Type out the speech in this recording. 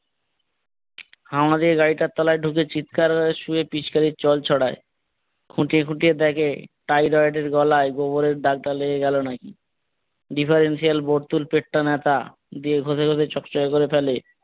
আমাদের গাড়িটার তলায় ঢুকে চিৎকার শুয়ে পিচকারীর জল ছড়ায়, খুঁটিয়ে খুঁটিয়ে দেখে টাইগার্ড এর গলায় গোবরের দাগ টা লেগে গেলো নাকি, ডিফারেনশিয়াল বোর্ডতুলপেটটা নেতা দিয়ে ঘষে ঘষে চক চকা করে ফেলে।